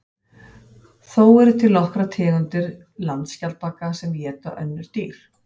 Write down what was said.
Þó eru til nokkrar tegundir landskjaldbaka sem éta önnur dýr.